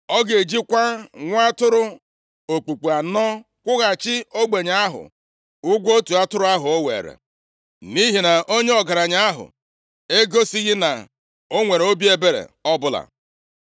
Ọ ga-ejikwa nwa atụrụ okpukpu anọ kwụghachi ogbenye ahụ ụgwọ otu atụrụ ahụ o weere, nʼihi na onye ọgaranya ahụ egosighị na o nwere obi ebere ọbụla.”